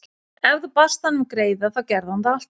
Ef þú baðst hann um greiða þá gerði hann það alltaf.